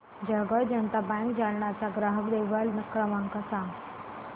Jalgaon Janata bank Jalna चा ग्राहक देखभाल क्रमांक सांग